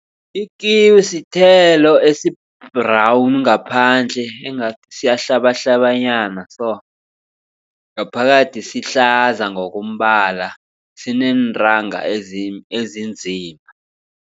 I-kiwi sithelo esi-brown ngaphandle engathi siyahlabahlabanyana so. Ngaphakathi sihlaza ngokombala sineentanga ezinzima.